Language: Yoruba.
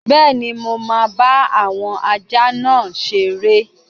Bẹ́ẹ̀ni, mo máa bá àwọn ajá náà seré